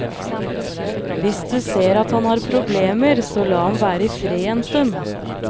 Hvis du ser at han har problemer så la ham være i fred en stund.